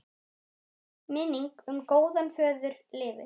Minning um góðan föður lifir.